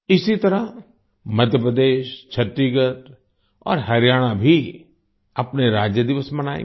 इसी तरह मध्य प्रदेश छत्तीसगढ़ और हरियाणा भी अपने राज्य दिवस मनाएंगे